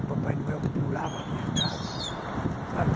O Papai Noel pulava a minha casa, sabe?